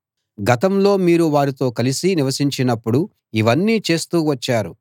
గతంలో మీరు వారితో కలసి నివసించినప్పుడు ఇవన్నీ చేస్తూ వచ్చారు